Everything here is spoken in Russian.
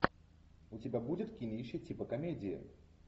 у тебя будет кинище типа комедии